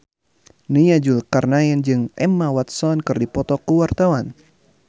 Nia Zulkarnaen jeung Emma Watson keur dipoto ku wartawan